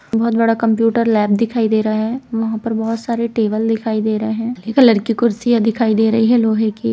बहुत बड़ा computer lab दिखाई दे रहा है वहां पर बहुत सारे टेबल दिखाई दे रहे है हरे कलर की कुर्सियां दिखाई दे रही है लोहे की।